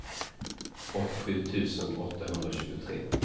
åttiosju tusen åttahundratjugotre